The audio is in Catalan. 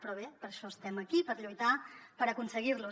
però bé per això estem aquí per lluitar per aconseguir los